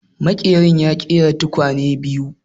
Maƙerin ya ƙera tukwanen biyu